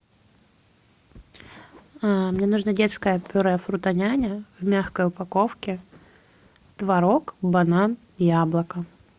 мне нужно детское пюре фрутоняня в мягкой упаковке творог банан яблоко